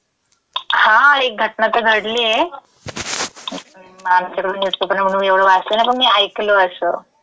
हा, एक घटना तं घडलीये. आमच्याकडं न्यूजपेपर नाही म्हणून मी एवढं वाचलं नाही पण मी ऐकलं असं.